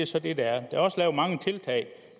så det det er der er også lavet mange tiltag